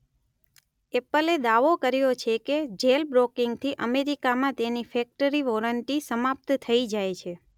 એપલે દાવો કર્યો છે કે જેલબ્રોકિંગથી અમેરિકામાં તેની ફેક્ટરી વોરંટી સમાપ્ત થઈ જાય છે.